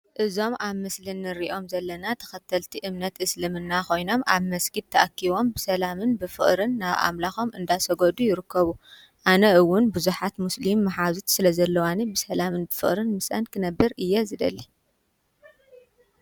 እዞም ኣብ ምስሊ ንሪኦም ዘለና ተኸተልቲ እምነት እስልምና ኾይኖም ኣብ መስጊድ ተኣኪቦም ብሰላምን ብፍቕርን ናብ ኣምላኾም እናሰገዱ ይርከቡ፡፡ ኣነ ውን ብዙሓት ሙስሊም መሓዙት ስለዘለዋኒ ብሰላምን ፍቕርን ምስእን ክነብር እየ ዝደሊ፡፡